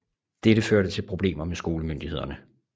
Dette førte til problemer med skolemyndighederne